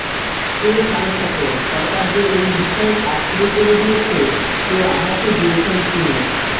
কে সারস্বত সরকার যে এই বিষয়ে কাজ শুরু করে দিয়েছে সে আভাসও দিয়েছেন তিনি